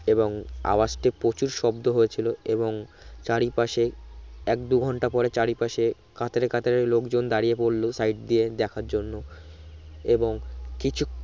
এবং আওয়াজটি প্রচুর শব্দ হয়েছিলো এবং চারি পাশে এক দু ঘন্টা পরে চারি পারে কাতারে কাতারে লোক জন দাড়িয়ে পরলো side দিয়ে দেখার জন্য এবং কিছু